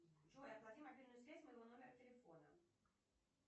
джой оплати мобильную связь моего номера телефона